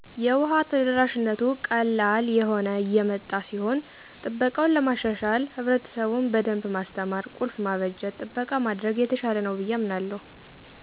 የውሃ ተደራሽነቱ ቀላል እየሆነ የመጣ ሲሆን ጥበቃውን ለማሻሻል ህብረትሰቡን በደንብ ማስተማር፣ ቁልፍ ማበጀት፣ ጥበቃ ማድረግ የተሻለ ነው ብየ አምናለሁ።